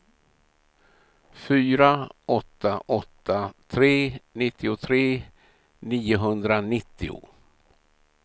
fyra åtta åtta tre nittiotre niohundranittio